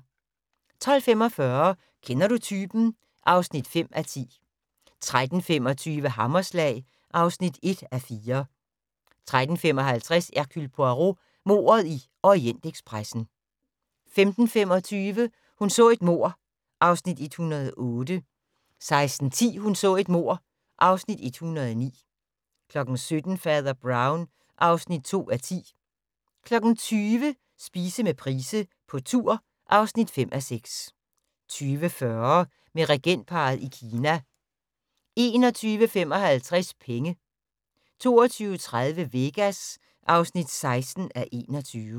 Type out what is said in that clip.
12:45: Kender du typen? (5:10) 13:25: Hammerslag (1:4) 13:55: Hercule Poirot: Mordet i Orientekspressen 15:25: Hun så et mord (Afs. 108) 16:10: Hun så et mord (Afs. 109) 17:00: Fader Brown (2:10) 20:00: Spise med Price på tur (5:6) 20:40: Med regentparret i Kina 21:55: Penge 22:30: Vegas (16:21)